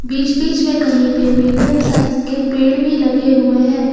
बीच बीच में कहीं पे मीडियम साइज के पेड़ भी लगे हुए हैं।